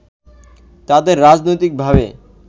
তাদের রাজনৈতিকভাবে